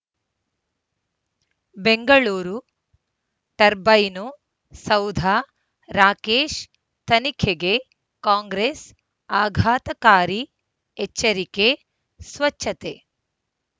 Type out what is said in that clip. Bengaluru turbine ಸೌಧ ರಾಕೇಶ್ ತನಿಖೆಗೆ ಕಾಂಗ್ರೆಸ್ ಆಘಾತಕಾರಿ ಎಚ್ಚರಿಕೆ ಸ್ವಚ್ಛತೆ